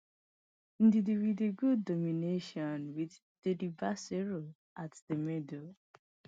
ndidi wit good domination wit delebashiru at di middle